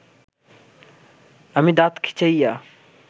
আমি দাত খিঁচাইয়া